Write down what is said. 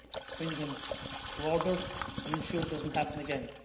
bring them to order and ensure it does not happen again.